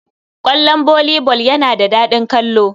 Ƙwallon volley ball yana da daɗin kallo.